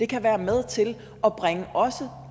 kan være med til at bringe